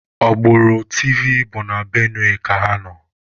Agbụrụ Tivi bụ na Benue ka ha nọ